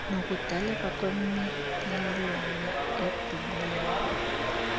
nokudaleka kwemililwana edubulayo